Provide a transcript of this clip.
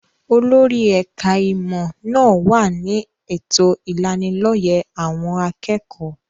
Olórí ẹ̀ka-ìmọ̀ náà wà ní ètò ìlanilọ́yẹ́ àwọn akẹ́kọ̀ọ́.